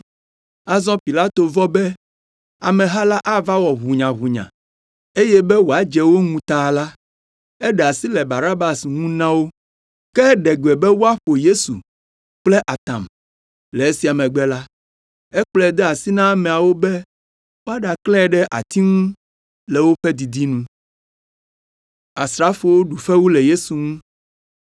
Azɔ Pilato vɔ̃ be ameha la ava wɔ ʋunyaʋunya eye be wòadze wo ŋu ta la, eɖe asi le Barabas ŋu na wo. Ke eɖe gbe be woaƒo Yesu kple atam. Le esia megbe la, ekplɔe de asi na ameawo be woaɖaklãe ɖe ati ŋu le woƒe didi nu.